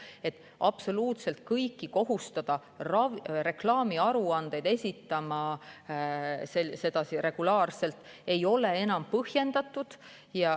Kohustada absoluutselt kõiki regulaarselt reklaamiaruandeid esitama ei ole enam põhjendatud.